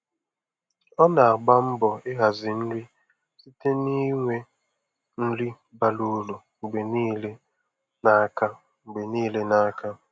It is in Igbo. Ọ na-agba mbọ ịhazi nri site n'inwe nri bara uru mgbe niile n'aka. mgbe niile n'aka.